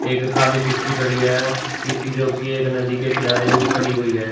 एक खाली किश्ती खड़ी है किस्ती जों की एक नदी के किनारे हो खड़ी हुई है।